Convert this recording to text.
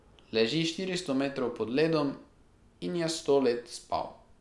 Leži štiristo metrov pod ledom in je sto let spal.